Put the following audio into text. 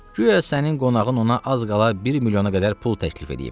Güya sənin qonağın ona az qala bir milyona qədər pul təklif edib.